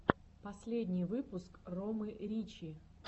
последний выпуск ромы ричи